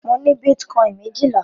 Mo ní bítíkọ́ìn méjìlá.